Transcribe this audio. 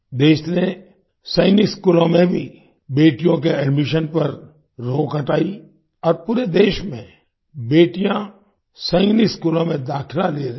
देश ने सैनिक स्कूलों में भी बेटियों के एडमिशन पर रोक हटाई और पूरे देश में बेटियाँ सैनिक स्कूलों में दाखिला ले रही हैं